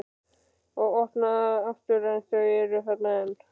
Og opna aftur en þau eru þarna enn.